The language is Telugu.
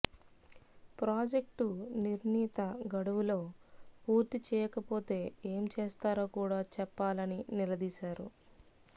ప్రాజెక్టు నిర్ణీత గడువులో పూర్తి చేయకపోతే ఏం చేస్తారో కూడా చెప్పాలని నిలదీశారు